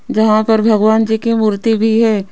जहां पर भगवान जी की मूर्ति भी हैं।